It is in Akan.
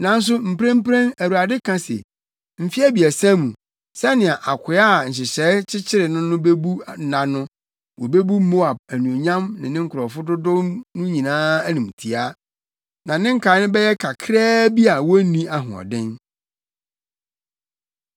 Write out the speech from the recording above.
Nanso mprempren Awurade ka se, “Mfe abiɛsa mu, sɛnea akoa a nhyehyɛe kyekyere no no bebu nna no, wobebu Moab anuonyam ne ne nkurɔfo dodow no nyinaa animtiaa, na ne nkae no bɛyɛ kakraa bi a wonni ahoɔden.”